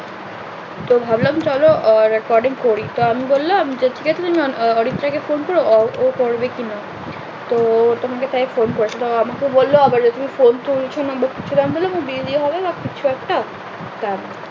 তো ভাবলাম চলো recording করি তো আমি বললাম যে ঠিক আছে তুমি অনঅরিত্রা কে phone করো আহ ও করবে কি না তো ও তোমাকে তাই phone করেছে তো ও আমাকে বললো তুমি phone তুলছো না আমি বললাম দেরি হবে বা কিছু একটা তারপর